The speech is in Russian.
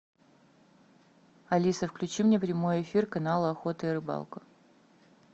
алиса включи мне прямой эфир канала охота и рыбалка